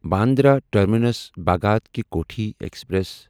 Bandra terminus Bhagat ki Kothi express